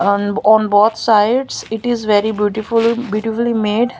On on both sides it is very beautiful beautifully made.